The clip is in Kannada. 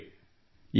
ಸ್ನೇಹಿತರೇ